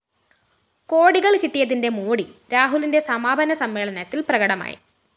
കോടികള്‍ കിട്ടിയതിന്റെ മോടി രാഹുലിന്റെ സമാപന സമ്മേളനത്തില്‍ പ്രകടമായി